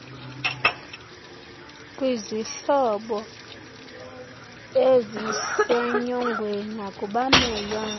kwizihlobo eizsenyongweni nakubamelwane